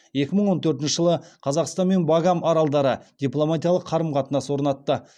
екі мың он төртінші жылы қазақстан мен багам аралдары дипломатиялық қарым қатынас орнатты